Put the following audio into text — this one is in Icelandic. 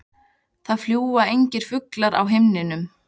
Það fljúga engir fuglar í himninum.